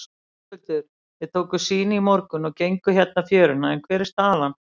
Höskuldur: Þið tókuð sýni í morgun og genguð hérna fjöruna, hver er staðan?